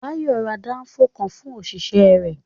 Bayo ra Danfo kan fún òṣìṣẹ́ rẹ̀